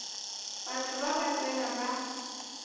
batho ba ba tsena ba